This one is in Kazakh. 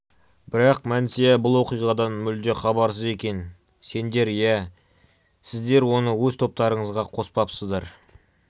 бірақ мәнсия бұл оқиғадан мүлде хабарсыз екен сендер иә сіздер оны өз топтарыңызға қоспапсыздар